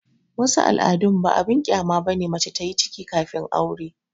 wasu al'adun ba abin kyama ba ne mace ta yi ciki kafin aure